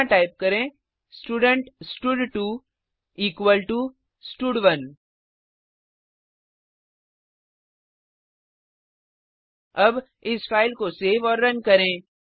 यहाँ टाइप करें स्टूडेंट स्टड2 इक्वल टो स्टड1 अब इस फाइल को सेव और रन करें